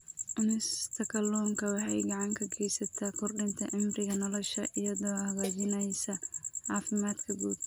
Cunista kalluunka waxay gacan ka geysataa kordhinta cimriga nolosha iyadoo hagaajinaysa caafimaadka guud.